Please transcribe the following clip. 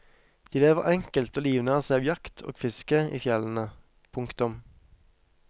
De lever enkelt og livnærer seg av jakt og fiske i fjellene. punktum